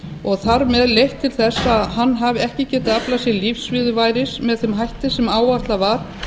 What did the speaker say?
og þar með leitt til þess að hann hafi ekki getað aflað sér lífsviðurværis með þeim hætti sem áætlað var